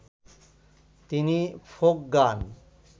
তিনি ফোক গান